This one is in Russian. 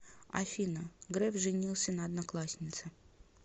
афина греф женился на однокласснице